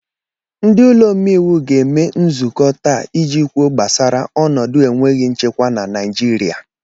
Ndị ụlọ omeiwu ga-eme nzukọ taa iji kwuo gbasara ọnọdụ enweghị nchekwa na Naijiria.